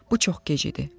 Bu çox gec idi.